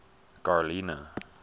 garlina